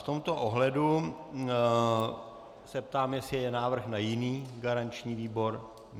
V tomto ohledu se ptám, jestli je návrh na jiný garanční výbor.